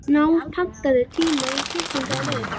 Náð, pantaðu tíma í klippingu á laugardaginn.